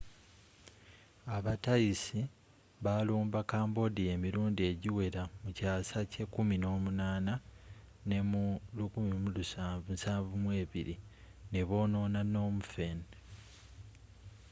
aba thais balumba cambodia emirundi egiwera mu kyaasa ky’e18 nemu 1772 nebonoona phnom phen